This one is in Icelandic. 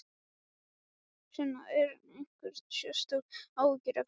Sunna: Eru einhver sérstök áhyggjuefni?